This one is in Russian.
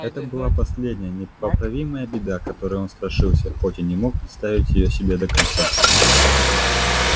это была последняя непоправимая беда которой он страшился хоть и не мог представить её себе до конца